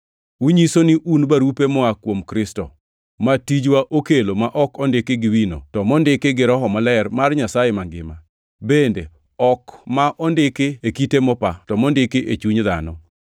Unyiso ni un barupe moa kuom Kristo, ma tijwa okelo, ma ok ondiki gi wino, to mondiki gi Roho Maler mar Nyasaye mangima, bende ok ma ondiki e kite mopa, to mondiki e chuny dhano.